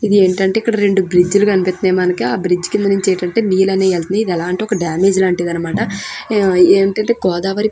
ఇదేంటంటే ఇక్కడ రెండు బ్రిడ్జిలు కనిపిస్తున్నాయి. మనకి ఆ బ్రిడ్జి కింద నుంచి ఏంటంటే నీళ్లు అనేవి వెళుతున్నాయి. ఇది ఎలా అంటే ఒక డామేజ్ లాంటిది అన్నమాట. ఇదేంటంటే గోదావరి --